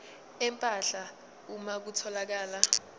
empahla uma kutholakala